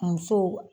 Musow